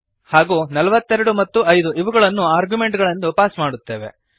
ಹಾಗೂ 42 ಮತ್ತು 5 ಇವುಗಳನ್ನು ಆರ್ಗ್ಯುಮೆಂಟುಗಳೆಂದು ಪಾಸ್ ಮಾಡುತ್ತೇವೆ